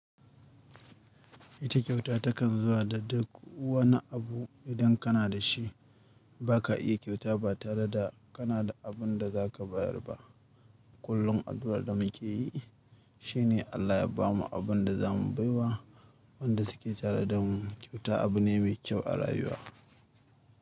Ita kyauta takan zuwa da duk wani abu idan kana da shi. Ba ka iya kyauta ba tare da kana da abin da za ka bayar ba. Kullum, addu'ar da mu ke yi, shi ne Allah ya ba mu abin da za mu bai wa. Wanda suke tare da mu. Kyauta abu ne mai kyau a rayuwa.